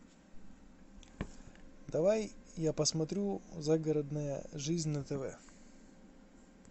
давай я посмотрю загородная жизнь на тв